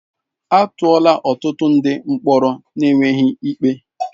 A tụọla ọtụtụ ndị mkpọrọ n'enweghị ikpe.